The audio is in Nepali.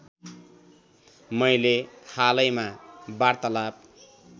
मैले हालैमा वार्तालाप